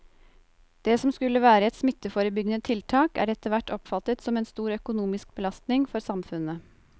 Det som skulle være et smitteforebyggende tiltak er etterhvert oppfattet som en stor økonomisk belastning for samfunnet.